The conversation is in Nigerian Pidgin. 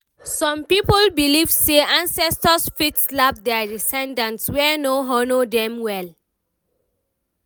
some people believe say ancestors fit slap their descendants wey no honour Dem well